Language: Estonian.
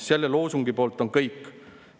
Selle loosungi poolt on kõik.